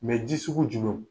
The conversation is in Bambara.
ji sugu jumɛw ?